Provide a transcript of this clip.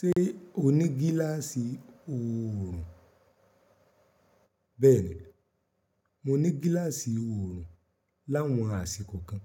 Ṣé o ní gíláàsì oòrùn? Bẹ́ẹ̀ni, mo ní gíláàsì oòrùn láwọn àsìkò kan,